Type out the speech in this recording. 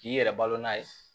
K'i yɛrɛ balo n'a ye